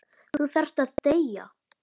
Þú þarft að deyja.